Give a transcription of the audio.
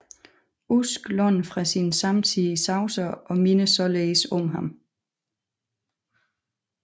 Usk låner fra sin samtidige Chaucer og minder således om ham